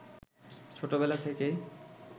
ছোট বেলা থেকেই